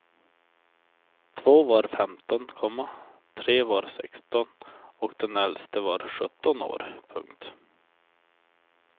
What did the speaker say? Två var femton, komma tre var sexton och den äldste var sjutton år. punkt